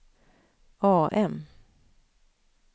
AM